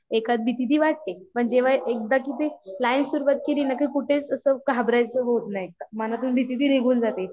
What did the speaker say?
एखाद भीती वाटते पण जेव्हा एकदा की ते लाईव्ह सुरुवात केली ना की कुठेच असं घाबरायच होत नाही मनातून भीती भी निघून